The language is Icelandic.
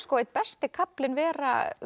einn besti kaflinn vera